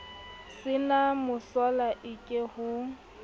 se na mosola eke ho